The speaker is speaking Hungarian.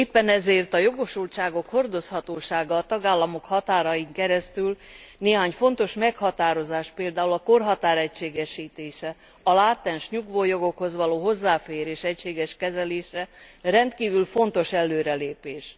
Éppen ezért a jogosultságok hordozhatósága a tagállamok határain keresztül, néhány fontos meghatározás, például a korhatár egységesítése, a látens nyugvójogokhoz való hozzáférés egységes kezelése rendkívül fontos előrelépés.